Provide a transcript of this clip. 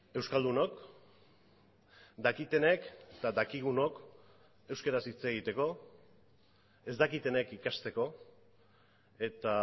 euskaldunok dakitenek eta dakigunok euskaraz hitz egiteko ez dakitenek ikasteko eta